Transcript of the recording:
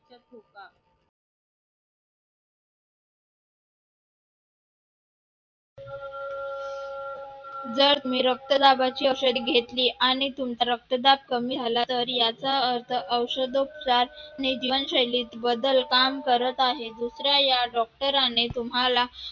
जर मी रक्तदाबाची औषधे घेतली तर आणि तुमचा रक्तदाब कमी झाला तर याचा अर्थ रक्तदाब आणि जीवनशैलीत बदल काम करीत आहेत दुसऱ्या या doctor ने तुम्हाला